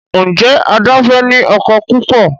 Njé Ada fè ní ọkọ púpọ?